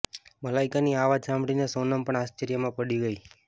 મલાઇકાની આ વાત સાંભળીને સોનમ પણ આશ્ચર્યમાં પડી ગઇ